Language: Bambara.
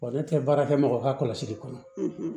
Wa ne tɛ baara kɛ mɔgɔ ka kɔlɔsili kɔnɔ